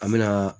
An me na